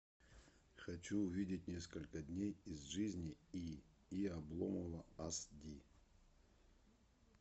хочу увидеть несколько дней из жизни и и обломова аш ди